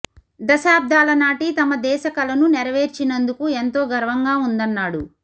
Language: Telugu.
దశాబ్దాల నాటి తమ దేశ కలను నెరవేర్చినందుకు ఎంతో గర్వంగా ఉందన్నాడు